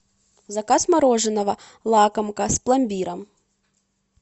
заказ мороженого лакомка с пломбиром